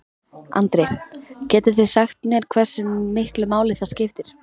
Andri: Getið þið sagt mér hversu miklu máli það skiptir?